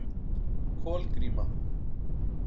Kolgríma